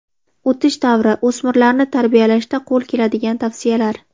O‘tish davri: O‘smirlarni tarbiyalashda qo‘l keladigan tavsiyalar.